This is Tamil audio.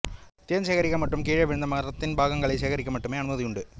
தேன் சேகரிக்க மற்றும் கீழே விழுந்த மரத்தின் பாகங்களைச் சேகரிக்க மட்டுமே அனுமதியுண்டு